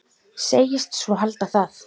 Segist svo halda það.